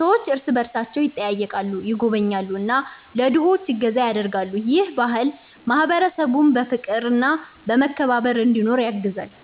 ሰዎች እርስ በእርሳቸው ይጠያየቃሉ፣ ይጎበኛሉ እና ለድሆች እገዛ ያደርጋሉ። ይህ ባህል ማህበረሰቡን በፍቅርና በመከባበር እንዲኖር ያግዛል።